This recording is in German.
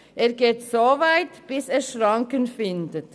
Er geht so weit, bis er Schranken findet.